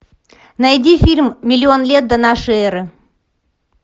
найди фильм миллион лет до нашей эры